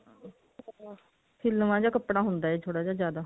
ਹਿਲਵਾਂ ਜਾ ਕੱਪੜਾ ਹੁੰਦਾ ਇਹ ਥੋੜਾ ਜਿਹਾ ਜਿਆਦਾ